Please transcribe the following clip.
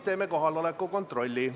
Teeme kohaloleku kontrolli.